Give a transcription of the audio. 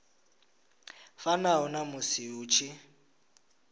fanaho na musi hu tshi